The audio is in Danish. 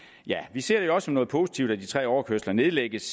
vi ser det også som noget positivt at de tre overkørsler nedlægges